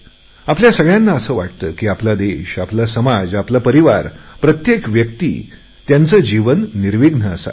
आपल्या सगळयांना असे वाटते की आपला देश आपला समाज आपला परिवार प्रत्येक व्यक्ती त्यांचे जीवन निर्विघ्न असावे